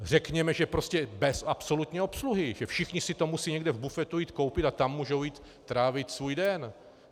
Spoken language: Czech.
Řekněme, že prostě bez absolutní obsluhy, že všichni si to musí někde v bufetu jít koupit a tam můžou jít trávit svůj den.